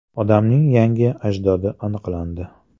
Odamning yangi ajdodi aniqlandi.